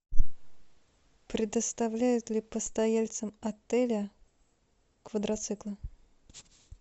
предоставляют ли постояльцам отеля квадроциклы